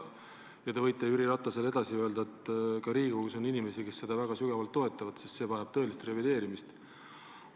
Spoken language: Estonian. Te võite Jüri Ratasele edasi öelda, et ka Riigikogus on inimesi, kes seda väga tugevalt toetavad, sest see vajab tõelist revideerimist.